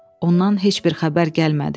Ondan heç bir xəbər gəlmədi.